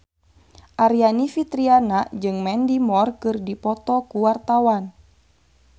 Aryani Fitriana jeung Mandy Moore keur dipoto ku wartawan